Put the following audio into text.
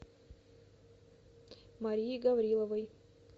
марией гавриловой